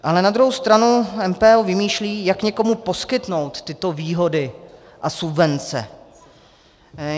Ale na druhou stranu MPO vymýšlí, jak někomu poskytnout tyto výhody a subvence.